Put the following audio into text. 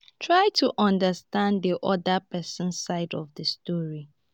try to understand di oda person side of di story